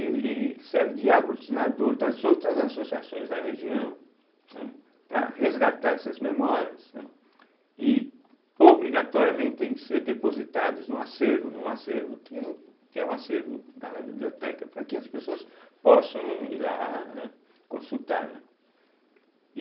Ele serve de aglutinador das outras associações da região, né, para resgatar essas memórias, né, e obrigatoriamente tem que ser depositados num acervo, num acervo que é o acervo lá na biblioteca, para que as pessoas possam ir lá, né, consultar, né.